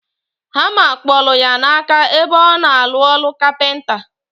Hama kpolu ya na aka ebe ona alu olu capenta.